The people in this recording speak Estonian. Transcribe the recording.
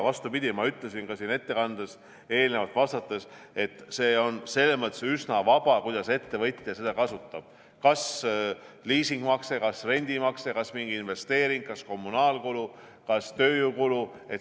Vastupidi, ma ütlesin ka siin ettekandes eelnevalt vastates, et see on üsna vaba, kuidas ettevõtja seda kasutab – kas liisingumakseks, kas rendimakseks, kas mingiks investeeringuks, kas kommunaalkuluks, kas tööjõukuluks.